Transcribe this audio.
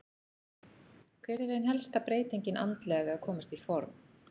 Hver er ein helsta breytingin andlega við að komast í form?